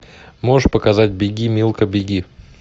можешь показать беги милка беги